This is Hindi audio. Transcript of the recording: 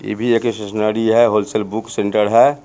इ भी एक स्टेशनरी है होलसेल बुक सेण्टर है|